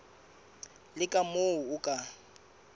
le ka moo o ka